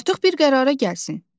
Artıq bir qərara gəlsin.